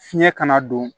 Fiɲɛ kana don